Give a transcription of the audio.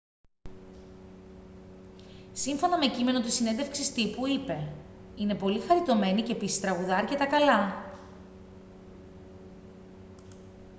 σύμφωνα με κείμενο της συνέντευξης τύπου είπε: «είναι πολύ χαριτωμένη και επίσης τραγουδά αρκετά καλά»